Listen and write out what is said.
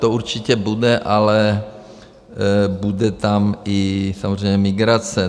To určitě bude, ale bude tam i samozřejmě migrace.